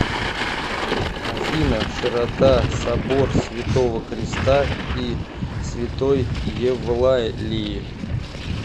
афина широта собор святого креста и святой евлалии